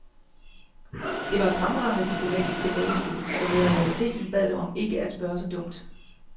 Det var et fremragende diplomatisk tilbagespil, som i realiteten bad dem om ikke at spørge så dumt.